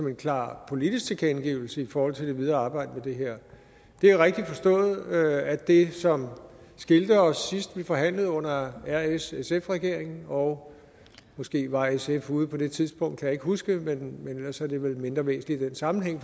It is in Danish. en klar politisk tilkendegivelse i forhold til det videre arbejde med det her det er rigtigt forstået at det som skilte os sidst vi forhandlede under rssf regeringen og måske var sf ude på det tidspunkt jeg ikke huske men ellers er det vel mindre væsentligt i den sammenhæng